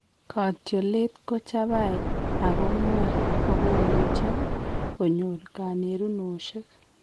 Katyolet ko chabai ak ko ng'wan ak komuche konyor kanerunoshek